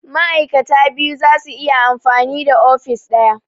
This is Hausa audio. Ma'aikata biyu zasu iya amfani da ofis ɗaya